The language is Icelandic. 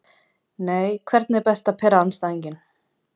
nei Hvernig er best að pirra andstæðinginn?